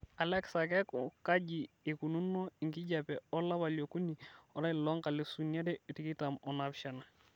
alexa keeku kaji eikununo enkijiape olapa leokuni olari loonkalisuni are tikitam onaapishana